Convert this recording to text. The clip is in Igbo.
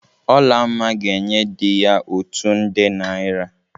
Olamma ga-enye di ya otu nde naịra.